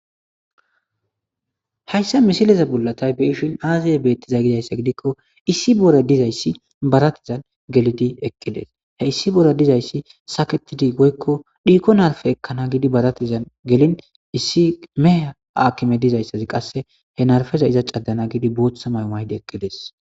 hayssa misileza bullatay beeshin aaziye beettiza gidayssa gidikko issi bore dizayssi baratizan gelidi eqqides he issi bore dizayssi saketidi goykko dhiikonarfe ekkana gidi baratizan gelin issi meha aakime dizayssazi qasse he narfeza iza caddana gidi bootha maymaydi eqqides